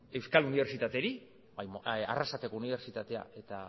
euskal unibertsitateei arrasateko unibertsitateak eta